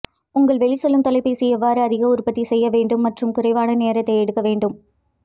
உங்கள் வெளிச்செல்லும் தொலைபேசி எவ்வாறு அதிக உற்பத்தி செய்ய வேண்டும் மற்றும் குறைவான நேரத்தை எடுக்க வேண்டும்